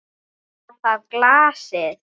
Var það glasið?